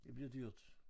Det bliver dyrt